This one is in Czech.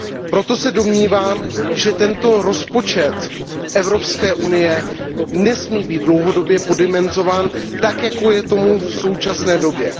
Proto se domnívám, že rozpočet Evropské unie nesmí být dlouhodobě poddimenzován tak, jak je tomu v současné době.